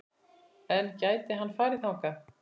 En gæti hann farið þangað?